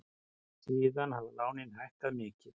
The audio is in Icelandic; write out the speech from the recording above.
Síðan hafa lánin hækkað mikið.